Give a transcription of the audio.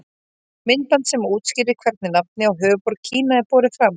Myndband sem útskýrir hvernig nafnið á höfuðborg Kína er borið fram.